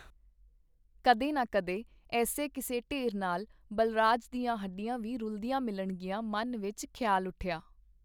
ਕਦੇ ਨਾ ਕਦੇ ਏਸੇ ਕਿਸੇ ਢੇਰ ਨਾਲ ਬਲਰਾਜ ਦੀਆਂ ਹੱਡੀਆਂ ਵੀ ਰੁਲਦੀਆਂ ਮਿਲਣਗੀਆਂ - ਮਨ ਵਿਚ ਖਿਆਲ ਉੱਠਿਆ.